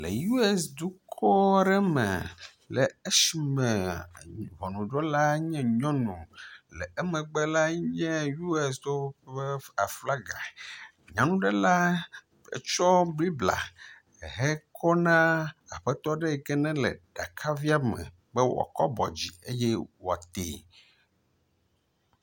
Le US dukɔa ɖe me le esime ŋɔnudrɔla nye nyɔnu, le emegbe lae nye US tɔwo ƒe aflaga, nyanuɖela tsɔ Biblia hekɔna aƒetɔa ɖe yi ke nele akavia me be wòakɔ bɔ dzi eye wòatee.